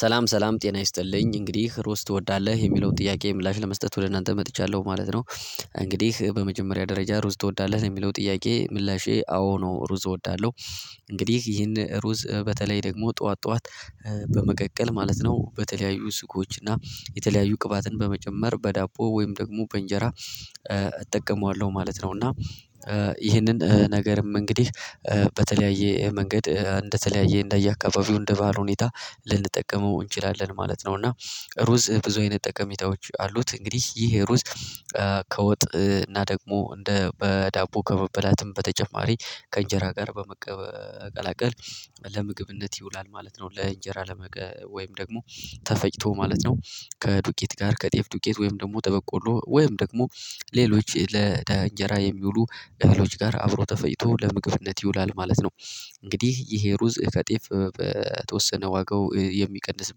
ሰላም ሰላም ጤና ይስጥልኝ እንግዲህ ሩዝ ትወዳለህ የሚለውን ጥያቄ ምላሽ ለመስጠት ወደ እናንተ መጥቻለሁ ማለት ነው። እንግዲህ በመጀመሪያ ደረጃ ሩዝ ትወዳለህ ለሚለው ጥያቄ ምላሼ አዎ ነው ሩዝ እወዳለሁ። እንግዲህ ይህን ሩዝ በተለይ ደግሞ ጠዋት ጠዋት በመቀቀል ማለት ነው በተለያዩ ስኮች እና የተለያዩ ቅባትን በመጨመር በዳቦ ወይም ደግሞ በእንጀራ። እጠቀማለሁ ማለት ነው። እና ይህንን ነገርም እንግዲህ በተለያየ መንገድ እንደተለያየ እንደየአካባቢው እንደባህሉ ሁኔታ ልንጠቀመው እንችላለን ማለት ነው። እና ሩዝ ብዙ አይነት ጠቀሚታዎች አሉት እንግዲህ ይህ ሩዝ። ከወጥ እና ደግሞ እንደ በዳቦ ከመበላትም በተጨማሪ ከእንጀራ ጋር በመቀ መቀላቀል ለምግብነት ይውላል ማለት ነው። ለእንጀራ ለመቀ ወይም ደግሞ ተፈጭቶ ማለት ነው። ከዱቄት ጋር ከጤፍ ዱቄት ወይም ደግሞ ተበቆሎ ወይም ደግሞ ሌሎች ለለእንጀራ የሚውሉ እህሎች ጋር አብሮ ተፈጭቶ ለምግብነት ይውላል ማለት ነው። እንግዲህ ይሄ ሩዝ ከጤፍ በተወሰነ ዋጋው የሚቀንስ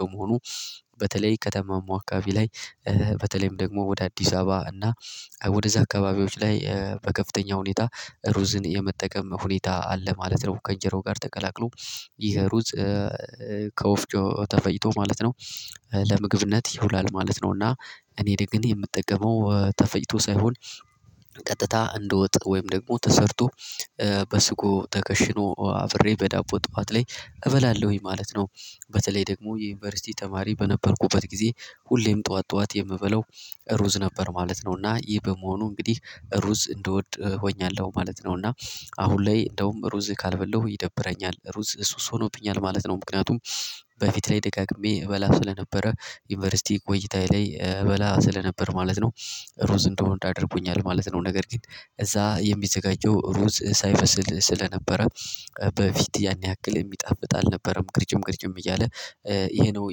በመሆኑ በተለይ ከተማ መዋካቢ ላይ። በተለይም ደግሞ ወደ አዲስ አበባ እና ወደዛ አካባቢዎች ላይ በከፍተኛ ሁኔታ ሩዝን የመጠቀም ሁኔታ አለ ማለት ነው። ከአእንጀራው ጋር ተቀላቅሎ ይሄ ሩዝ። ከወፍጮ ተፈጭቶ ማለት ነው ለምግብነት ይውላል ማለት ነው። እና እኔ ደግ እኔ የምጠቀመው ተፈጭቶ ሳይሆን ቀጥታ እንደወጥ ወይም ደግሞ ተሰርቶ በስጎ ተከሽኖ አብሬ በዳቦ ጠዋት ላይ እበላለሁኝ ማለት ነው። በተለይ ደግሞ የዩኒቨርሲቲ ተማሪ በነበርኩበት ጊዜ ሁሌም ጠዋት ጠዋት የምበላው ሩዝ ነበር ማለት ነው። እና ይህ በመሆኑ እንግዲህ ሩዝ እንደወጥ ሆኛለሁ ማለት ነው። እና አሁን ላይ እንደውም ሩዝ ካልበላሁ ይደብረኛል ሩዝ ሱስ ሆኖብኛል ማለት ነው። ምክንያቱም በፊት ላይ ደጋግሜ እበላ ስለነበረ ዩኒቨርሲቲ ቆይታዬ ላይ እበላ ስለነበር ማለት ነው። ሩዝ እንደወድ አድርጎኛል ማለት ነው። ነገር ግን እዛ የሚዘጋጀው ሩዝ ሳይበስል ስለነበረ በፊት ያን ያክል የሚጣፍጥ አልነበረም ቅርጭም ቅርጭም እያለ። ይሄ ነው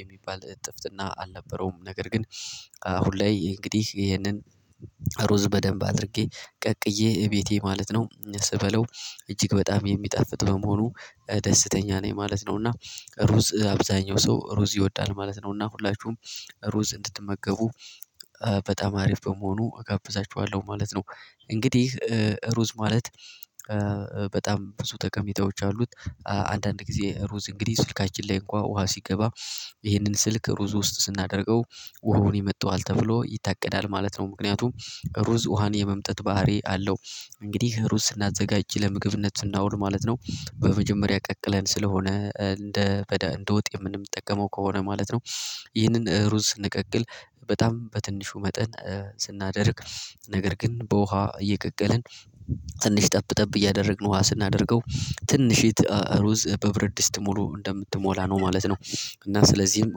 የሚባል እጥፍትና አልነበረውም። ነገር ግን አሁን ላይ እንግዲህ ይሄንን። ሩዝ በደንብ አድርጌ ቀቅዬ እቤቴ ማለት ነው ስበላው እጅግ በጣም የሚጣፍጥ በመሆኑ ደስተኛ ነኝ ማለት ነው። እና ሩዝ አብዛኛው ሰው ሩዝ ይወዳል ማለት ነው እና ሁላችሁም ሩዝ እንድትመገቡ በጣም አሪፍ በመሆኑ እጋብዛችኋለሁ ማለት ነው። እንግዲህ ሩዝ ማለት በጣም ብዙ ጠቀሜታዎች አሉት። አንዳንድ ጊዜ ሩዝ እንግዲህ ስልካችን ላይ እንኳን ውሃ ሲገባ ይህንን ስልክ ሩዝ ውስጥ ስናደርገው ውሃውን ይመጠዋል ተብሎ ይታቀዳል ማለት ነው። ምክንያቱም ሩዝ ውሃን የመምጠጥ ባህሪ አለው። እንግዲህ ሩዝ ስናዘጋጅ ለምግብነት ስናውል ማለት ነው። በመጀመሪያ ቀቅለን ስለሆነ እንደ በዳ እንደ ወጥ የምንጠቀመው ከሆነ ማለት ነው። ይህንን ሩዝ ስንቀቅል በጣም በትንሹ መጠን ስናደርግ ነገር ግን በውሃ እየቀቀልን ትንሽ ጠብ ጠብ እያደረግን ውሃ ስናደርገው ትንሺት ሩዝ በብረድስት ሙሉ እንደምትሞላ ነው ማለት ነው። እና ስለዚህም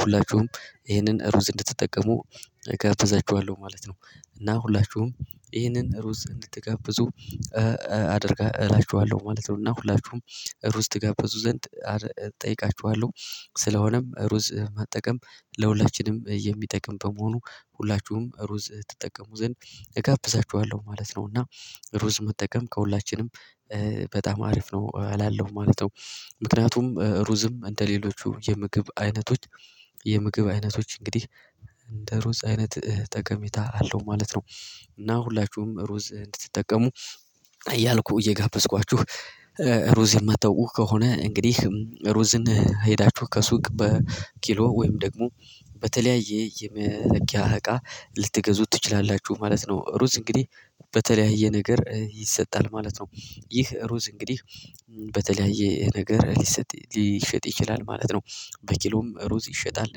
ሁላችሁም ይህንን ሩዝ እንድትጠቀሙ እጋብዛችኋለሁ ማለት ነው። እና ሁላችሁም ይህንን ሩዝ እንድትጋብዙ አደርጋ እላችኋለሁ ማለት ነው። እና ሁላችሁም ሩዝ ትጋብዙ ዘንድ እጠይቃችኋለሁ። ስለሆነም ሩዝ መጠቀም ለሁላችንም የሚጠቅም በመሆኑ ሁላችሁም ሩዝ ትጠቀሙ ዘንድ እጋብዛችኋለሁ ማለት ነው። እና ሩዝ መጠቀም ከሁላችንም በጣም አሪፍ ነው እላለሁማለት ነው። ምክንያቱም ሩዝም እንደሌሎቹ የምግብ አይነቶች የምግብ አይነቶች እንግዲህ እንደ ሩዝ አይነት ጠቀሜታ አለው ማለት ነው። እና ሁላችሁም ሩዝ እንድትጠቀሙ እያልኩ እየጋበዝኳችሁ ሩዝ የማታውቁ ከሆነ እንግዲህ ሩዝን ሄዳችሁ ከሱቅ በኪሎ ወይም ደግሞ በተለያየ የመለኪያ እቃ ልትገዙት ትችላላችሁ ማለት ነው። ሩዝ እንግዲህ በተለያየ ነገር ይሰጣል ማለት ነው። ይህ ሩዝ እንግዲህ በተለያየ ነገር ሊሰጥ ሊሸጥ ይችላል ማለት ነው። በኪሎም ሩዝ ይሸጣል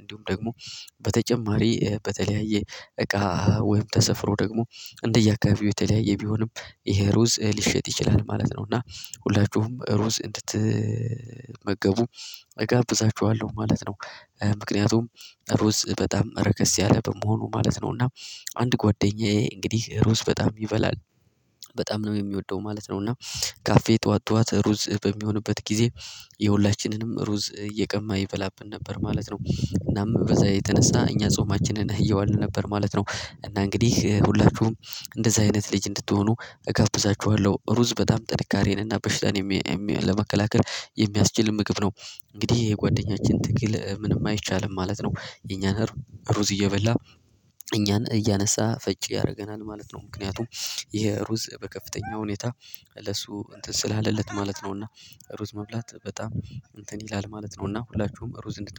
እንዲሁም ደግሞ በተጨማሪ በተለያየ እቃ ወይም ተሰፍሮ ደግሞ እንደየአካባቢው የተለያየ ቢሆንም ይሄ ሩዝ ሊሸጥ ይችላል ማለት ነው። እና ሁላችሁም ሩዝ እንድትመገቡ እጋብዛችኋለሁ ማለት ነው። ምክንያቱም ሩዝ በጣም ረከስ ያለ በመሆኑ ማለት ነው። እና አንድ ጓደኛዬ እንግዲህ ሩዝ በጣም ይበላል በጣም ነው የሚወደው ማለት ነው። እና ካፌ ጠዋት ጠዋት ሩዝ በሚሆንበት ጊዜ የሁላችንንም ሩዝ እየቀማ ይበላብን ነበር ማለት ነው። እናም በዛ የተነሳ እኛ ጾማችንን እየዋልን ነበር ማለት ነው። እና እንግዲህ ሁላችሁም እንደዚህ አይነት ልጅ እንድትሆኑ እጋብዛችኋለሁ ሩዝ በጣም ጥንካሬንና በሽታን ለመከላከል የሚያስችል ምግብ ነው። እንግዲህ የጓደኛችን ትግል ምንም አይቻልም ማለት ነው። የኛን ሩዝ እየበላ እኛን እያነሳ ፈጭ ያርገናል ማለት ነው። ምክንያቱም ይሄ ሩዝ በከፍተኛ ሁኔታ ለሱ እንትን ስላለለት ማለት ነውና። ሩዝ መብላት በጣም እንትን ይላል ማለት ነውና። ሁላችሁም ሩዝ እንድት